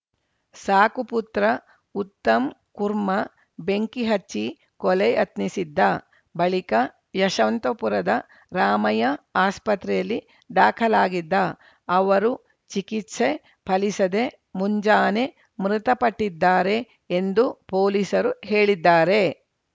ಸಾಕು ಪುತ್ರ ಉತ್ತಮ್‌ ಕುರ್ಮಾ ಬೆಂಕಿ ಹಚ್ಚಿ ಕೊಲೆ ಯತ್ನಿಸಿದ್ದ ಬಳಿಕ ಯಶವಂತಪುರದ ರಾಮಯ್ಯ ಆಸ್ಪತ್ರೆಯಲ್ಲಿ ದಾಖಲಾಗಿದ್ದ ಅವರು ಚಿಕಿತ್ಸೆ ಫಲಿಸದೆ ಮುಂಜಾನೆ ಮೃತಪಟ್ಟಿದ್ದಾರೆ ಎಂದು ಪೊಲೀಸರು ಹೇಳಿದ್ದಾರೆ